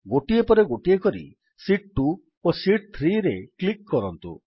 ଗୋଟିଏ ପରେ ଗୋଟିଏ କରି ଶୀତ୍ 2 ଓ ଶୀତ୍ 3ରେ କ୍ଲିକ୍ କରନ୍ତୁ